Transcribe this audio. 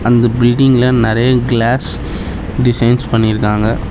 அந்த பில்டிங்ல நெறைய கிளாஸ் டிசைன்ஸ் பண்ணிருக்காங்க.